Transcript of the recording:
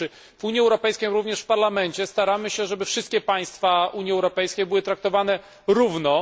Mianowicie w Unii Europejskiej, również w Parlamencie staramy się, żeby wszystkie państwa Unii Europejskiej były traktowane równo.